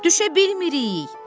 Düşə bilmirik!